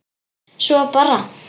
Svo bara.